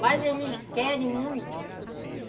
Mas eles querem muito.